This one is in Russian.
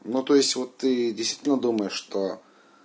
ну то есть вот ты действительно думаешь что